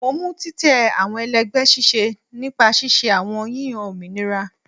Mo mu titẹ awọn ẹlẹgbẹ ṣiṣẹ nipa ṣiṣe awọn yiyan ominira